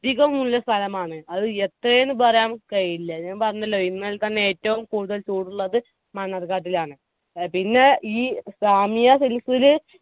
അധികമുള്ള സ്ഥലമാണ് അത് എത്രെയെന്ന് പറയാൻ കയ്‌ല ഞാൻ പറഞ്ഞല്ലോ ഇന്നലെത്തന്നെ ഏറ്റവും കൂടുതൽ ചൂടുള്ളത് മണ്ണാർക്കാട്ടിലാണ്. ഏർ പിന്നെ ഈ